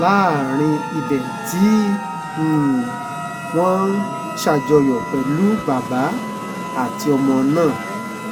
láàrin ibẹ̀ tí um wọ́n ń ṣàjọyọ̀ pẹ̀lú bàbá àtọmọ náà